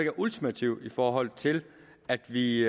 er ultimativ i forhold til at vi